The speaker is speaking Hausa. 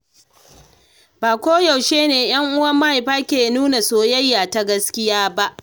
Ba koyaushe ne 'yan uwan mahaifa ke nuna soyayya ta gaskiya ba.